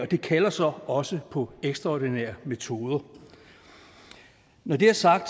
det kalder så også på ekstraordinære metoder når det er sagt